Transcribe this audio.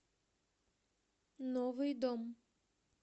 новый дом